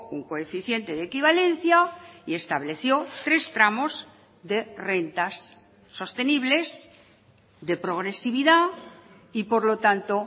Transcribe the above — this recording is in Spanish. un coeficiente de equivalencia y estableció tres tramos de rentas sostenibles de progresividad y por lo tanto